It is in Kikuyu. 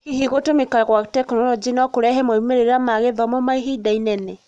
Hihi gũtũmĩka gwa tekinoronjĩ no kũrehe moimĩrĩra ma gĩthomo ma ihinda inene ?